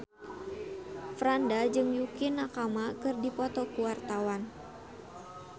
Franda jeung Yukie Nakama keur dipoto ku wartawan